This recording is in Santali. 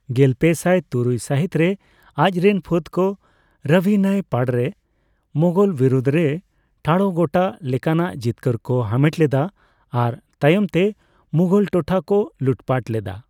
ᱜᱮᱞᱯᱮᱥᱟᱭ ᱛᱩᱨᱩᱭ ᱥᱟᱦᱤᱛ ᱨᱮ, ᱟᱡ ᱨᱮᱱ ᱯᱷᱟᱹᱫᱽ ᱠᱚ ᱨᱟᱵᱷᱤ ᱱᱟᱹᱭ ᱯᱟᱲᱨᱮ ᱢᱳᱝᱜᱳᱞ ᱵᱤᱨᱩᱫᱽ ᱨᱮ ᱴᱷᱟᱲᱚ ᱜᱚᱴᱟ ᱞᱮᱠᱟᱱᱟᱜ ᱡᱤᱛᱠᱟᱹᱨ ᱠᱚ ᱦᱟᱢᱮᱴ ᱞᱮᱫᱟ ᱟᱨ ᱛᱟᱭᱚᱢ ᱛᱮ ᱢᱳᱝᱜᱚᱞ ᱴᱚᱴᱷᱟ ᱠᱚ ᱞᱩᱴᱯᱟᱴ ᱞᱮᱫᱟ ᱾